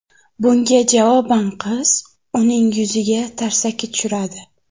Bunga javoban qiz uning yuziga tarsaki tushiradi.